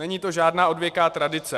Není to žádná odvěká tradice.